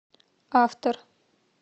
автор